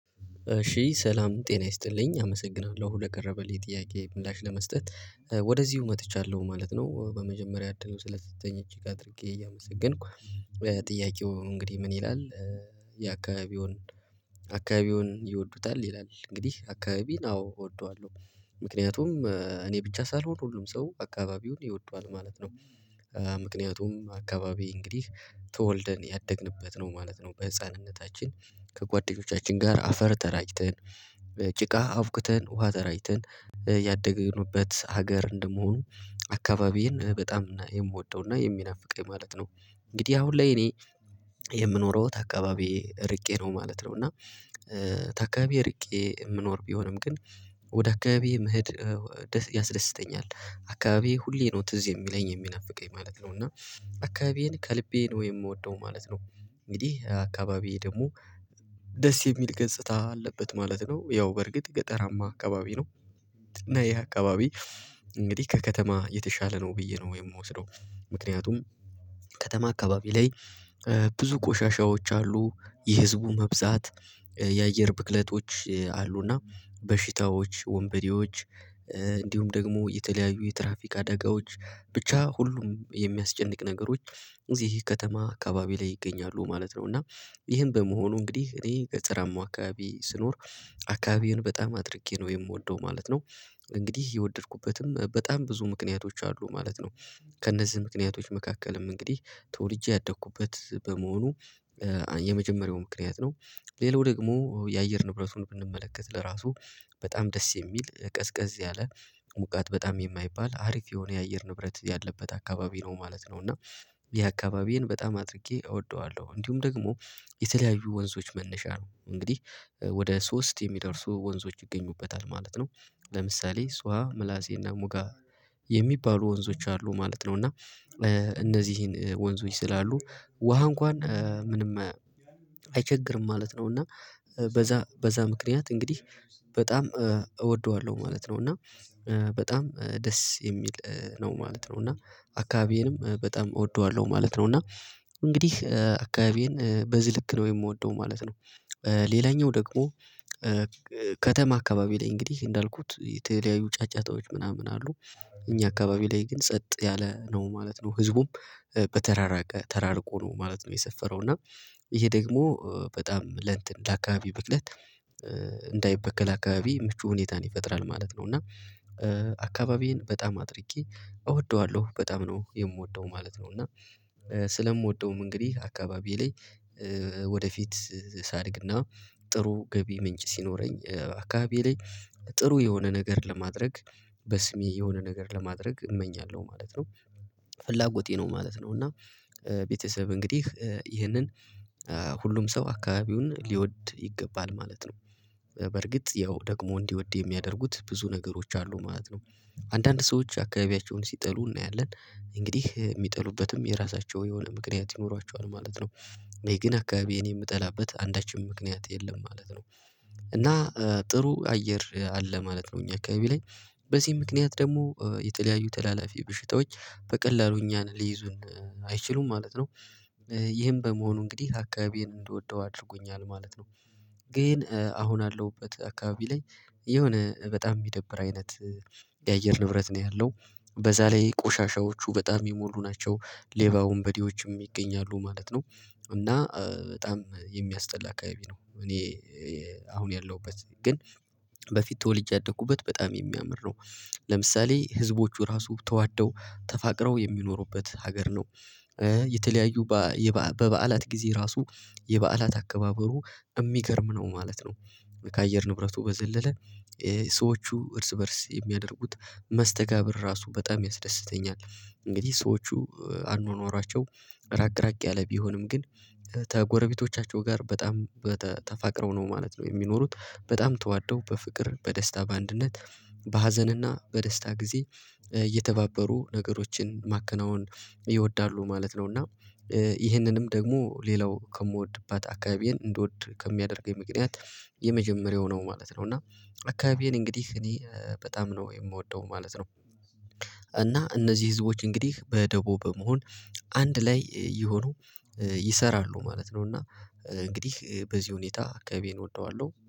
እሺ ሰላም ጤና ይስጥልኝ አመሰግናለሁ ለቀረበልኝ ጥያቄ ምላሽ ለመስጠት ወደዚሁ መጥቻለሁ ማለት ነው። በመጀመሪያ እድሉ ስለተሰጠኝ እጅግ አድርጌ እያመሰገንኩ ጥያቄው እንግዲህ ምን ይላል? የአካባቢዎን አካባቢዎን ይወዱታል ይላል እንግዲህ አካባቢን አዎ እወደዋለሁ ምክንያቱም እኔ ብቻ ሳልሆን ሁሉም ሰው አካባቢውን ይወደዋል ማለት ነው። ምክንያቱም አካባቢ እንግዲህ ተወልደን ያደግንበት ነው ማለት ነው በህፃንነታችን ከጓደኞቻችን ጋር አፈር ተራጭተን ጭቃ አብኩተን ውሃ ተራጭተን ያደገንበት ሀገር እንደመሆኑ አካባቢዬን በጣም የምወደውና የሚናፍቀኝ ማለት ነው። እንግዲህ አሁን ላይ እኔ የምኖረው ከአካባቢዬ እርቄ ነው ማለት ነው። እና ከአካባቢዬ እርቄ የምኖር ቢሆንም ግን ወደ አካባቢ መሄድ ያስደስተኛል። አካባቢዬ ሁሌ ነው ትዝ የሚለኝ የሚናፍቀኝ ማለት ነው እና አካባቢዬን ከልቤ ነው የምወደው ማለት ነው። እንግዲህ አካባቢዬ ደግሞ ደስ የሚል ገጽታ አለበት ማለት ነው ያው በእርግጥ ገጠራማ አካባቢ ነው። እና ይሄ አካባቢ እንግዲህ ከከተማ የተሻለ ነው ብዬ ነው የምወስደው። ምክንያቱም ከተማ አካባቢ ላይ ብዙ ቆሻሻዎች አሉ የህዝቡ መብዛት የአየር ብክለቶች አሉና በሽታዎች ወንበዴዎች እንዲሁም ደግሞ የተለያዩ የትራፊክ አደጋዎች ብቻ ሁሉም የሚያስጨንቅ ነገሮች እዚህ ከተማ አካባቢ ላይ ይገኛሉ ማለት ነው። እና ይህን በመሆኑ እንግዲህ እኔ ከጠራማው አካባቢ ስኖር አካባቢዬን በጣም አድርጌ ነው የምወደው ማለት ነው። እንግዲህ የወደድኩበትም በጣም ብዙ ምክንያቶች አሉ ማለት ከእነዚህ ምክንያቶች መካከልም እንግዲህ ተወልጄ ያደኩበት በመሆኑ የመጀመሪያው ምክንያት ነው። ሌላው ደግሞ የአየር ንብረቱን ብንመለከት ለራሱ በጣም ደስ የሚል ቀዝቀዝ ያለ ሞቃት በጣም የማይባል አሪፍ የሆነ የአየር ንብረት ያለበት አካባቢ ነው ማለት ነው። እና ይህ አካባቢዬን በጣም አድርጌ እወደዋለሁ። እንዲሁም ደግሞ የተለያዩ ወንዞች መነሻ ነው እንግዲህ ወደ ሶስት የሚደርሱ ወንዞች ይገኙበታል ማለት ነው። ለምሳሌ እሷ ምላሴና ሙጋ የሚባሉ ወንዞች አሉ ማለት ነው። እና እነዚህን ወንዞች ስላሉ ውሃ እንኳን ምንም አይቸግርም ማለት ነው እና በዛ በዛ ምክንያት እንግዲህ በጣም እወደዋለሁ ማለት ነው። እና በጣም ደስ የሚል ነው ማለት ነው እና አካባቢዬንም በጣም እወደዋለሁ ማለት ነው እና እንግዲህ አካባቢዬን በዚህ ልክ ነው የምወደው ማለት ነው። ሌላኛው ደግሞ ከተማ አካባቢ ላይ እንግዲህ እንዳልኩት የተለያዩ ጫጫታዎች ምናምን አሉ እኛ አካባቢ ላይ ግን ጸጥ ያለ ነው ማለት ነው ህዝቡም በተራራቀ ተራርቆ ነው ማለት ነው። የሰፈረው እና ይሄ ደግሞ በጣም ለእንትን ለአካባቢ ብክለት እንዳይበከል አካባቢ ምቹ ሁኔታን ይፈጥራል ማለት ነው። እና አካባቢዬን በጣም አድርጌ እወደዋለሁ በጣም ነው የምወደው ማለት ነው። እና ስለምወደውም እንግዲህ አካባቢ ላይ ወደፊት ሳድግና ጥሩ ገቢ ምንጭ ሲኖረኝ አካባቢዬ ላይ ጥሩ የሆነ ነገር ለማድረግ በስሜ የሆነ ነገር ለማድረግ እመኛለሁ ማለት ነው። ፍላጎቴ ነው ማለት ነው። እና ቤተሰብ እንግዲህ ይህንን ሁሉም ሰው አካባቢውን ሊወድ ይገባል ማለት ነው። በርግጥ ያው ደግሞ እንዲወድ የሚያደርጉት ብዙ ነገሮች አሉ ማለት ነው። አንዳንድ ሰዎች አካባቢያቸውን ሲጠሉ እናያለን እንግዲህ የሚጠሉበትም የራሳቸው የሆነ ምክንያት ይኖሯቸዋል ማለት ነው እኔ ግን አካባቢዬን የምጠላበት አንዳችም ምክንያት የለም ማለት ነው። እና ጥሩ አየር አለ ማለት ነው። እኛ አካባቢ ላይ በዚህም ምክንያት ደግሞ የተለያዩ ተላላፊ በሽታዎች በቀላሉ እኛን ሊይዙን አይችሉም ማለት ነው። ይህም በመሆኑ እንግዲህ አካባቢዬን እንደወደው አድርጎኛል ማለት ነው። ግን አሁን ያለውበት አካባቢ ላይ የሆነ በጣም የሚደብር አይነት የአየር ንብረት ነው ያለው በዛ ላይ ቆሻሻዎቹ በጣም የሚሞሉ ናቸው ሌባ ወንበዴዎችም ይገኛሉ ማለት ነው። እና በጣም የሚያስጠላ አካባቢ ነው እኔ አሁን ያለሁበት ግን በፊት ተወልጄ ያደኩበት በጣም የሚያምር ነው። ለምሳሌ ህዝቦቹ ራሱ ተዋደው ተፋቅረው የሚኖሩበት ሀገር ነው። የተለያዩ በበዓላት ጊዜ ራሱ የበዓላት አከባበሩ የሚገርም ነው ማለት ነው። ከአየር ንብረቱ በዘለለ ሰዎቹ እርስ በእርስ የሚያደርጉት መስተጋብር ራሱ በጣም ያስደስተኛል እንግዲህ ሰዎቹ አኗኗራቸው ራቅ ራቅ ያለ ቢሆንም ግን ከጎረቤቶቻቸው ጋር በጣም ተፋቅረው ነው ማለት ነው። የሚኖሩት በጣም ተዋደው በፍቅር በደስታ በአንድነት በሀዘንና በደስታ ጊዜ እየተባበሩ ነገሮችን ማከናወን ይወዳሉ ማለት ነው። እና ይህንንም ደግሞ ሌላው ከምወድባት አካባቢዬን እንደወድ ከሚያደርገኝ ምክንያት የመጀመሪያው ነው ማለት ነው። እና አካባቢዬን እንግዲህ እኔ በጣም ነው የምወደው ማለት ነው። እና እነዚህ ህዝቦች እንግዲህ በደቦ በመሆን አንድ ላይ እየሆኑ ይሰራሉ ማለት ነው። እና እንግዲህ በዚህ ሁኔታ አካባቢዬን እወደዋለሁ